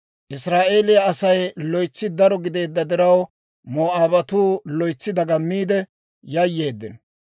Israa'eeliyaa Asay loytsi daro gideedda diraw, Moo'aabatuu loytsi dagammiide yayyeeddino.